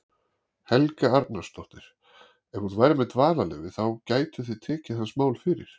Helga Arnardóttir: Ef hún væri með dvalarleyfi, þá gætu þið tekið hans mál fyrir?